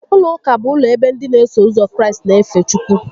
Ụlọ ụka bụ ụlọ ebe ndị n'eso ụzọ Kraịst n'efe Chukwu